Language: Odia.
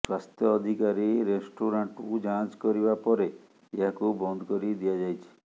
ସ୍ୱାସ୍ଥ୍ୟ ଅଧିକାରୀ ରେଷ୍ଟୁରାଣ୍ଟ୍କୁ ଯାଞ୍ଚ୍ କରିବା ପରେ ଏହାକୁ ବନ୍ଦ କରି ଦିଆଯାଇଛି